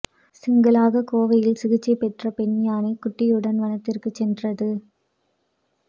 சிங்கிளாக கோவையில் சிகிச்சை பெற்ற பெண் யானை குட்டியுடன் வனத்திற்கு சென்றது